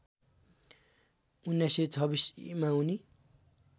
१९२६ ईमा उनी